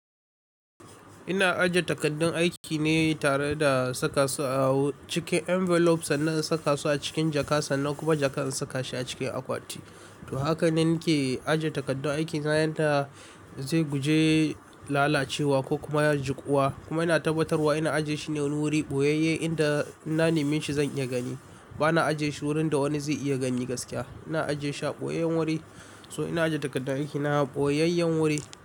Ina ajiye takardun aiki ne tare da saka su a cikin envelopes sannan saka su a cikin jaka sannan kuma jaka in saka shi a cikin akwati. To haka ne nake ajiye takardun aikin na yadda zai guje lalacewa ko kuma ya jikuwa. Kuma ina tabbatarwa ina ajiye shi ne wani wuri ɓoyayye inda in na nemi shi zan iya gani. Bana ajiye shi wurin da wani zai iya gani gaskiya. Ina ajiye shi a ɓoyayyen wuri. So ina ajiye takardar aiki na a ɓoyayyen wuri.